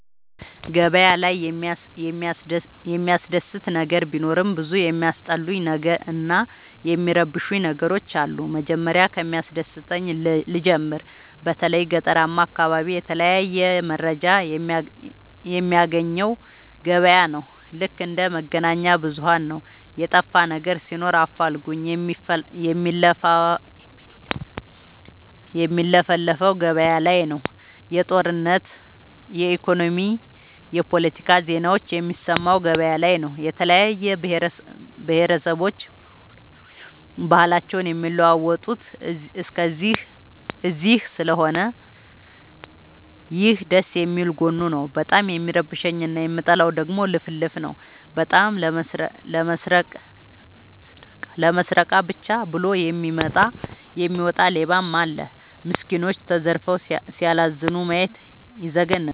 ገበያ ላይ የሚያስደስ ነገር ቢኖርም ብዙ የሚያስጠሉኝ እና የሚረብሸኝ ነገሮች አሉ። መጀመሪያ ከሚያስደስተኝ ልጀምር በተለይ ገጠራማ አካቢዎች የተለያየ መረጃ የሚያገኘው ገበያ ነው። ልክ እንደ መገናኛብዙኋን ነው የጠፋነገር ሲኖር አፋልጉኝ የሚለፍፈው ገበያላይ ነው። የጦርነት የኢኮኖሚ የፓለቲካ ዜናዎችን የሚሰማው ገበያ ላይ ነው። የተለያየ ብሆረሰቦች ባህልአቸውን የሚለዋወጡት እዚስለሆነ ይህ ደስየሚል ጎኑ ነው። በጣም የሚረብሸኝ እና የምጠላው ደግሞ ልፍልፍ ነው። በጣም ለመስረቃ ብቻ ብሎ የሚወጣ ሌባም አለ። ሚስኩኖች ተዘርፈው ሲያላዝኑ ማየት ይዘገንናል።